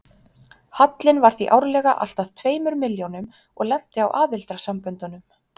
Hallinn var því árlega alltað tveimur milljónum og lenti á aðildarsamböndunum.